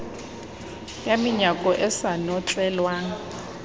ka menyako e sa notlelwang